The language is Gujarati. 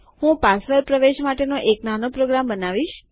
હું પાસવર્ડ પ્રવેશ માટેનો એક નાનો પ્રોગ્રામ બનાવીશ